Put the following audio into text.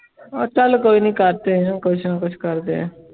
ਚੱਲ ਕੋਈ ਨੀ ਕਰਦੇ ਕੁਛ ਨਾ ਕੁਛ ਕਰਦੇ ਹਾਂ।